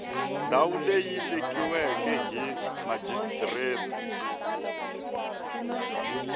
ndhawu leyi vekiweke hi murhijisitara